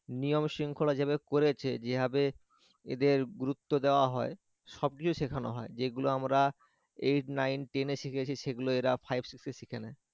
নিয়ম-শৃঙ্খলা যেভাবে করেছে যেভাবে এদের গুরুত্ব দেওয়া হয় সবকিছু শেখানো হয় যেগুলো আমরা eight nine ten এ শিখেছি সেগুলো এরা five six এ শিখে নেয়